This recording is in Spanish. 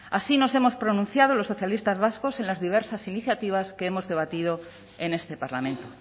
así nos hemos pronunciado los socialistas vascos en las diversas iniciativas que hemos debatido en este parlamento